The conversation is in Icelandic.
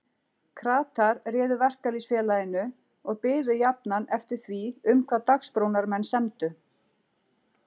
Kratar réðu Verkalýðsfélaginu og biðu jafnan eftir því um hvað Dagsbrúnarmenn semdu.